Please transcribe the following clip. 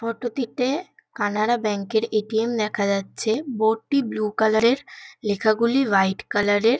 Photo -টিতে Canara bank -এর ATM দেখা যাচ্ছে। বোর্ড -টি ব্লু কালার -এর লেখা গুলি হোয়াইট কালার -এর |